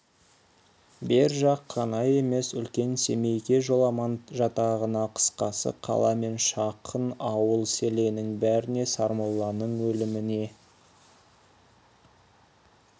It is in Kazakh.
бер жақ қана емес үлкен семейге жоламан жатағына қысқасы қала мен жақын ауыл-селеннің бәріне сармолланың өліміне